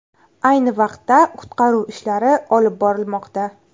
Ayni vaqtda qutqaruv ishlari olib borilmoqda.